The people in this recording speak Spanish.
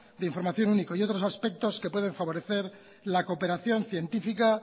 de información único y otros aspectos que pueden favorecer la cooperación científica